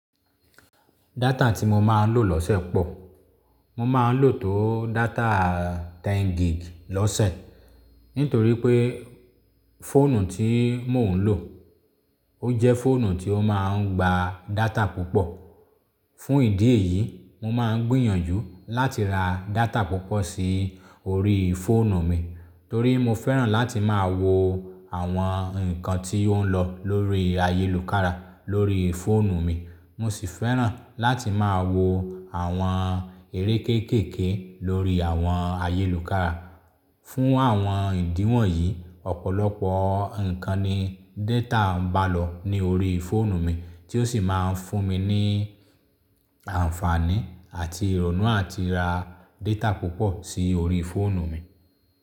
Data tí mo máa ń lò lọ́sẹ̀ pọ̀. Mo máa ń lò tó data 10 gig lọ́sẹ̀ nítorí pé fóònù tí mò ń lò, ó jẹ́ fóònù tí ó máa ń gba data púpọ̀. Fo. Fún ìdí èyí, mo máa ń gbìyànjú láti ra data púpọ̀ sí orí fóònù mi torí mo fẹ́ràn láti máa wo àwọn nǹkan tí ó ń lọ lórí ayélùkára lórí fóònù mi. Mo sì fẹ́ràn láti máa wo àwọn eré kéékèèké lórí àwọn ayélùkára. Fún àwọn ìdí wọ̀nyí, ọ̀pọ̀lọpọ̀ nǹkan ni data ń bá lọ ní orí fóònù mi tí ó sì máa ń fún mi ní àǹfààní àti ìrònú àti ra data púpọ̀ sí orí fóònù mi.